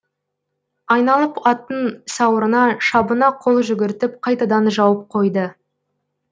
айналып аттың сауырына шабына қол жүгіртіп қайтадан жауып қойды